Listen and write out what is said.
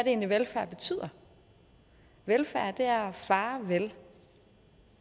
egentlig velfærd betyder velfærd er at fare vel